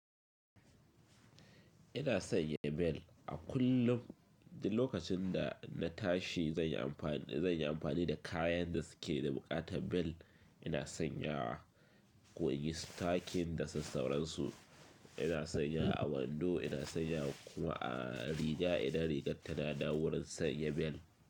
Ina sanya bel a kullum. Lokacin da na tashi zan yi amfani, zan yi amfani da kayan da suke da buƙatar bel. Ina sanya wa ko inyi stocking da sassauran su. Ina sanya a wando, ina sanya kuma a riga idan rigar tana da wurin sanya bel.